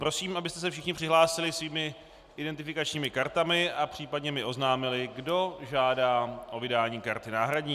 Prosím, abyste se všichni přihlásili svými identifikačními kartami a případně mi oznámili, kdo žádá o vydání karty náhradní.